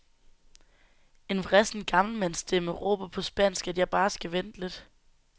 En vrissen gammelmandsstemme råber på spansk, at jeg bare skal vente lidt.